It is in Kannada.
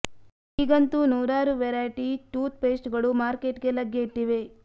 ಈಗಂತೂ ನೂರಾರು ವೆರೈಟಿ ಟೂತ್ ಪೇಸ್ಟ್ ಗಳು ಮಾರ್ಕೆಟ್ ಗೆ ಲಗ್ಗೆ ಇಟ್ಟಿವೆ